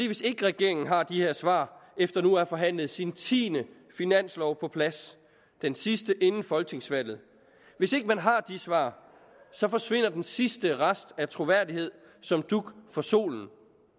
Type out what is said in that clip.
hvis ikke regeringen har de her svar efter nu at have forhandlet sin tiende finanslov på plads den sidste inden folketingsvalget hvis ikke man har de svar så forsvinder den sidste rest af troværdighed som dug for solen